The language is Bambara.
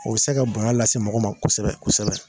O bɛ se ka bonya lase mɔgɔ ma kosɛbɛ kosɛbɛ.